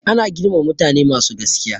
Ana girmama mutane masu gaskiya.